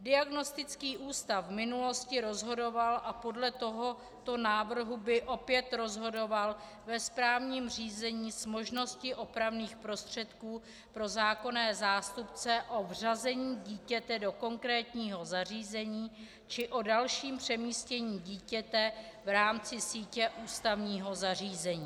Diagnostický ústav v minulosti rozhodoval a podle tohoto návrhu by opět rozhodoval ve správním řízení s možností opravných prostředků pro zákonné zástupce o vřazení dítěte do konkrétního zařízení či o dalším přemístění dítěte v rámci sítě ústavního zařízení.